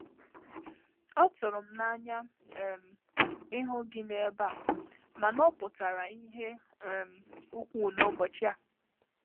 Ọ tụrụ m n’anya um ịhụ gị n’ebe a mana ọ pụtara ihe um ukwuu n’ụbọchị a.